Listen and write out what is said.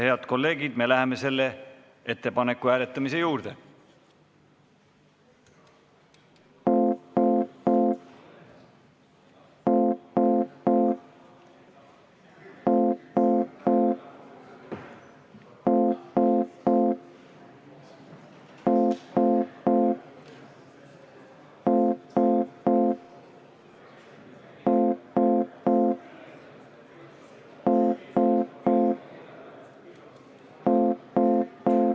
Head kolleegid, me läheme selle ettepaneku hääletamise juurde.